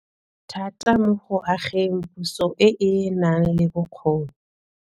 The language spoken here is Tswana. Thata mo go ageng puso e e nang le bokgoni.